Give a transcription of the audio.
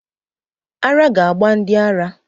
Ara ga-gba ndị ara.